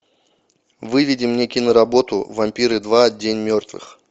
выведи мне киноработу вампиры два день мертвых